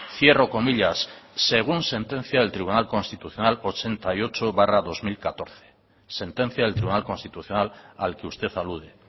cierro comillas según sentencia del tribunal constitucional ochenta y ocho barra dos mil catorce sentencia del tribunal constitucional al que usted alude